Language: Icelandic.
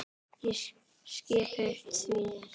Ég skyrpti því.